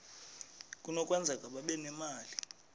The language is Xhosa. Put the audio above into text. kunokwenzeka babe nemali